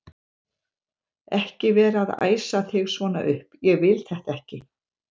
ekki vera að æsa þig svona upp. ég vil þetta ekki!